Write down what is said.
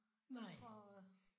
Nej